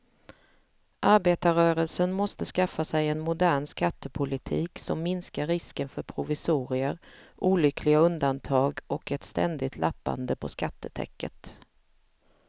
Arbetarrörelsen måste skaffa sig en modern skattepolitik som minskar risken för provisorier, olyckliga undantag och ett ständigt lappande på skattetäcket.